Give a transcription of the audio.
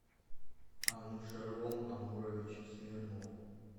анушервон амурович смирнов